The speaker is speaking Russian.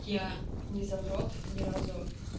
я не задрот ни разу